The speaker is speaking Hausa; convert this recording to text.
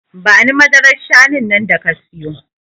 Bani madarar shanun nan da ka siyo